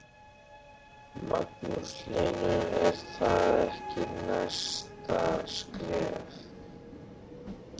Magnús Hlynur: Er það ekki næsta skref?